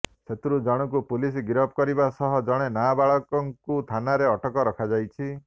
ସେଥିରୁ ଜଣଙ୍କୁ ପୁଲିସ ଗିରଫ କରିବା ସହ ଜଣେ ନାବାଳକଙ୍କୁ ଥାନାରେ ଅଟକ ରଖାଯାଇଛି